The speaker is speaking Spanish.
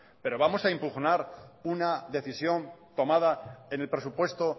pero vamos a impugnar una decisión tomada en el presupuesto